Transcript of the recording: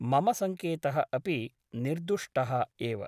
मम सङ्केतः अपि निर्दुष्टः एव ।